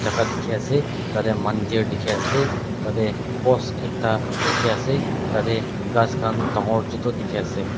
jaka diki ase tate mandir diki ase tate post ekta diki ase tate kas kan dangor chutu diki ase.